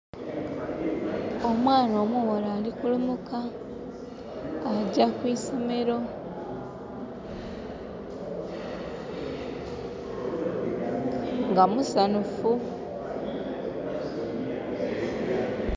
Omwana omughala ali kulumuka. Agya ku isomero. Nga musanhufu.